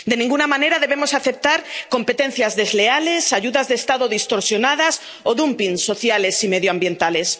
De ninguna manera debemos aceptar competencias desleales, ayudas de Estado distorsionadas o dumping sociales y medioambientales.